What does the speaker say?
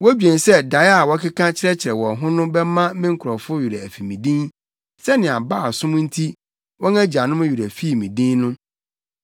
Wodwen sɛ dae a wɔkeka kyerɛkyerɛ wɔn ho no bɛma me nkurɔfo werɛ afi me din, sɛnea Baal som nti wɔn agyanom werɛ fii me din no.